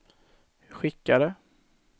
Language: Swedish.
skickade